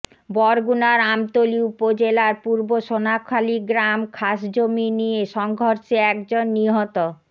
বরগুনার আমতলী উপজেলার পূর্ব সোনাখালী গ্রাম খাসজমি নিয়ে সংঘর্ষে একজন নিহত